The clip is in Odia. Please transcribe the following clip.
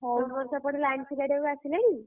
ତମର ସେପଟେ line ସଜାଡିବାକୁ ଆସିଲେଣି?